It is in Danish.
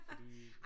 Fordi